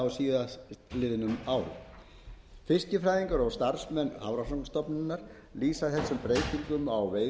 á síðastliðnum árum fiskifræðingar og starfsmenn hafrannsóknastofnunar lýsa þessum breytingum á veiðisvæðum hækkandi